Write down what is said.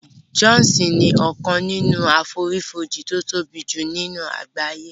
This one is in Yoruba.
Jọ́òsì ni ọkàn nínú àfonífojì tí ó tóbi jù ní àgbáyé